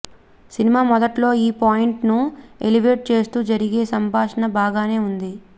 cinema మొదట్లో ఈ point ను ఎలివేట్ చేస్తూ జరిగే సంభాషణ బాగానే ఉంది